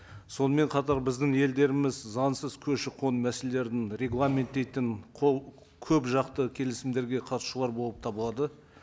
сонымен қатар біздің елдеріміз заңсыз көші қон мәселелерін регламенттейтін қол көп жақты келісімдерге қатысушылар болып табылады